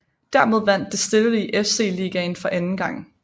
Dermed vandt Distillery FC ligaen for anden gang